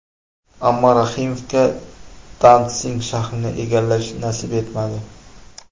Ammo Rahimovga Dantsig shahrini egallash nasib etmadi.